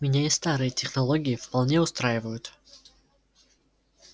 меня и старые технологии вполне устраивают